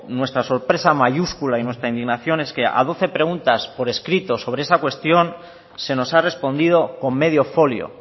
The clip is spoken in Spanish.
nuestra sorpresa mayúscula y nuestra indignación es que a doce preguntas por escrito sobre esta cuestión se nos ha respondido con medio folio